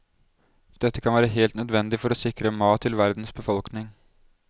Dette kan være helt nødvendig for å sikre mat til verdens befolkning.